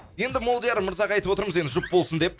енді молдияр мырзаға айтып отырмыз енді жұп болсын деп